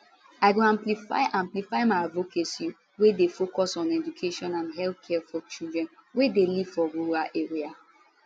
i go amplify amplify my advocacy wey dey focus on education and healthcare for children wey dey live for rural area